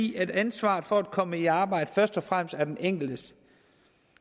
i at ansvaret for at komme i arbejde først og fremmest er den enkeltes